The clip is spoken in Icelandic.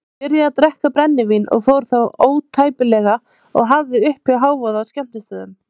Hann byrjaði að drekka brennivín og fór þá ótæpilega og hafði uppi hávaða á skemmtistöðum.